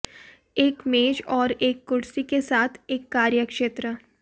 एक मेज और एक कुर्सी के साथ एक कार्य क्षेत्र